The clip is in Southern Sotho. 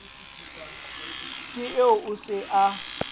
ke eo o se a